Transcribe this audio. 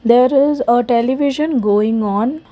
there is a television going on.